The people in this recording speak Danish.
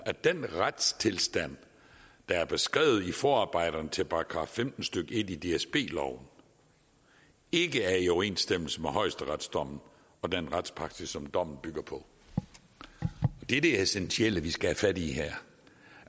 at den retstilstand der er beskrevet i forarbejderne til § femten stykke en i dsb loven ikke er i overensstemmelse med højesteretsdommen og den retspraksis som dommen bygger på det er det essentielle vi skal have fat i her